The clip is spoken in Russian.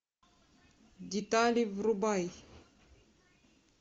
детали врубай